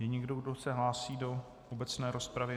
Je někdo, kdo se hlásí do obecné rozpravy?